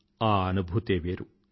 ఆ ఆనుభూతే వేరు